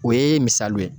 O ye misali ye